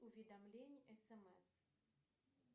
уведомление смс